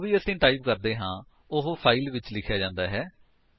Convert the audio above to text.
ਜੋ ਵੀ ਅਸੀ ਟਾਈਪ ਕਰਦੇ ਹਾਂ ਉਹ ਫਾਇਲ ਵਿੱਚ ਲਿਖਿਆ ਜਾਂਦਾ ਹੈ